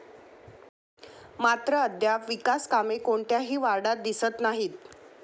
मात्र अद्याप विकास कामे कोणत्याही वार्डात दिसत नाहीत.